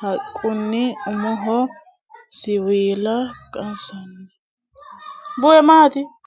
haqqunni umoho siwiila qansoonnite.